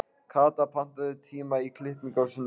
Kata, pantaðu tíma í klippingu á sunnudaginn.